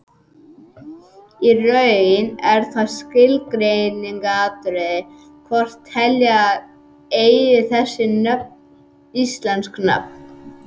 Í raun er það skilgreiningaratriði hvort telja eigi þessi nöfn íslensk nöfn.